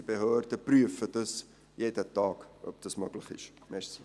Unsere Behörden prüfen jeden Tag, ob das möglich ist.